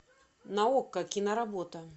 на окко киноработа